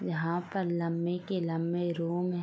यहां का लंबे के लंबे रूम --